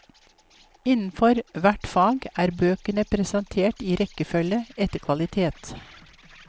Innenfor hvert fag er bøkene presentert i rekkefølge etter kvalitet.